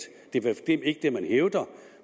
det er fald ikke det man hævder